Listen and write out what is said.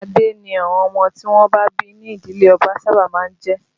Adé ni àwọn ọmọ tí wọ́n bí ní ìdílé ọba sábà máa ń jẹ́